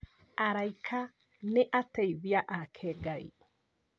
Araika nĩ ateithia ake Ngai.